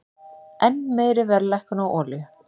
Enn meiri verðlækkun á olíu